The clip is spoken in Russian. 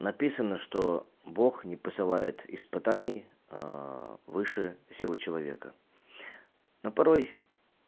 написано что бог не посылает испытаний выше силы человека но порой